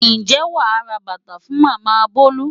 Ǹjẹ́ wàá ra bàtà fún Màmá Bolu?